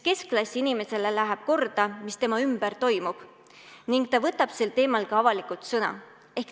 Keskklassi inimesele läheb korda, mis tema ümber toimub, ning ta võtab sel teemal ka avalikult sõna.